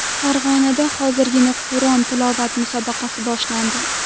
Farg‘onada hozirgina Qur’on tilovati musobaqasi boshlandi.